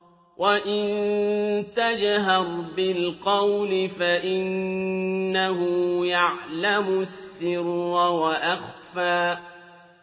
وَإِن تَجْهَرْ بِالْقَوْلِ فَإِنَّهُ يَعْلَمُ السِّرَّ وَأَخْفَى